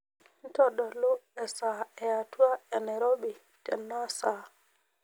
ntodulu esaa eatwa enairobi tenaa saa